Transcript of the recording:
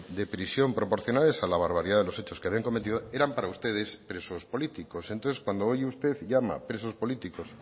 de prisión proporcionales a la barbaridad de los hechos que habían cometido eran para ustedes presos políticos entonces cuando hoy usted llama presos políticos